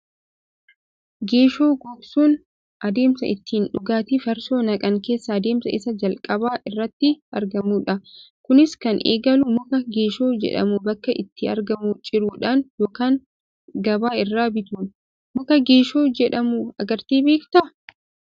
Geeshoo gogsuun adeemsa ittiin dhugaatii farsoo naqan keessaa adeemsa isa calqaba irratti argamudha. Kunis kan eegalu muka geeshoo jedhamu bakka itti argamuu ciruudhaan yookaan gabaa irraa bituuni. Muka geeshoo jedhamu agartee beektaa?